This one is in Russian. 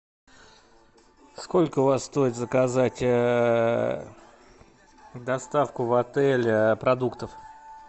сколько у вас стоит заказать доставку в отель продуктов